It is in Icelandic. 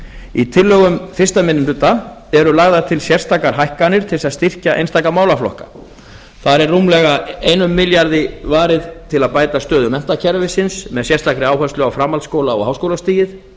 í tillögum fyrsti minni hluta eru lagðar til sérstakar hækkanir til að styrkja einstaka málaflokka rúmlega einum milljarði króna skal varið til að bæta stöðu menntakerfisins með sérstakri áherslu á framhaldsskóla og háskólastigið